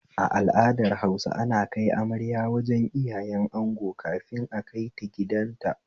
A al'adar Hausa ana kai amarya wajen iyayen ango kafin akaita gidanta